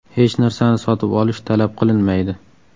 Hech narsani sotib olish talab qilinmaydi.